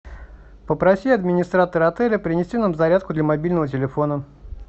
попроси администратора отеля принести нам зарядку для мобильного телефона